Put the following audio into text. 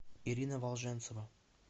ирина волженцева